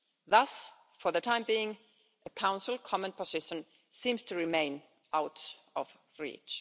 Thus, for the time being, the Council common position seems to remain out of reach.